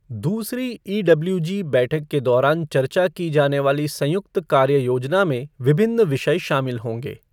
दूसरी ईडब्ल्यूजी बैठक के दौरान चर्चा की जाने वाली संयुक्त कार्य योजना में विभिन्न विषय शामिल होंगे।